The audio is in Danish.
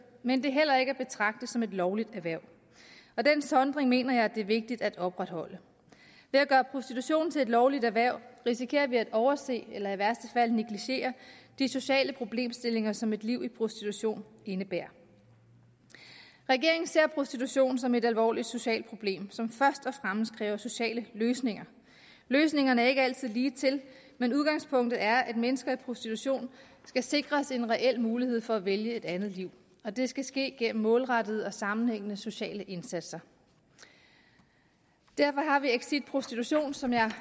men det er heller ikke at betragte som et lovligt erhverv og den sondring mener jeg at det er vigtigt at opretholde ved at gøre prostitution til et lovligt erhverv risikerer vi at overse eller i værste fald negligere de sociale problemstillinger som et liv i prostitution indebærer regeringen ser prostitution som et alvorligt socialt problem som først og fremmest kræver sociale løsninger løsningerne er ikke altid ligetil men udgangspunktet er at mennesker i prostitution skal sikres en reel mulighed for at vælge et andet liv og det skal ske gennem målrettede og sammenhængende sociale indsatser derfor har vi exit prostitution som jeg